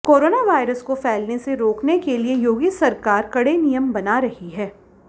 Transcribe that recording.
corona virus को फैलने से रोकने के लिए योगी सरकार कड़े नियम बना रही है